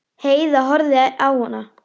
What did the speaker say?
Heiða horfði á hana.